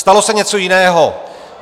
Stalo se něco jiného.